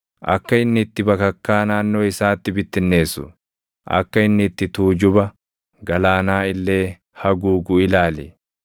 Akka inni itti bakakkaa naannoo isaatti bittinneessu, akka inni itti tuujuba galaanaa illee haguugu ilaali.